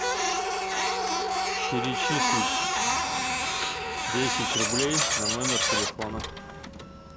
перечислить десять рублей на номер телефона